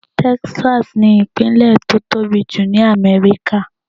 Texas ni ìpínlè tó tóbi jù ní Amẹ́ríkà.